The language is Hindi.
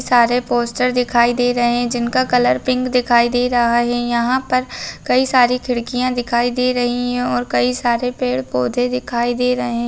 साड़ी पोस्टर दिखइदहराहा जिंका रंग गुलाबी दिखइदहरहा याहपर कैसरे किदकिया दिखइदहरहा वौर कैसरे पेड़ शभी दिखइदहरहा